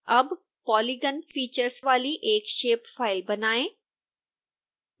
अब polygon features वाली एक shape फाइल बनाएं